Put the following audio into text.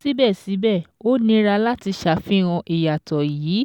Síbẹ̀síbẹ̀, ó nira láti ṣàfihàn ìyàtọ̀ yìí